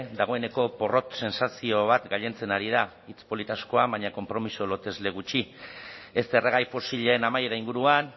dagoeneko porrot sentsazio bat gailentzen ari da hitz polit asko baina konpromiso lotesle gutxi ez erregai fosilen amaiera inguruan